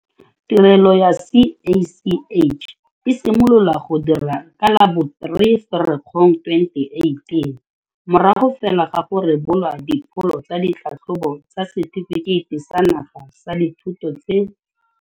Tirelo ya CACH e simolola go dira ka la bo 3 Ferikgong 2018, morago fela ga go rebolwa dipholo tsa ditlhatlhobo tsa Setefikeiti sa Naga sa Dithuto tse.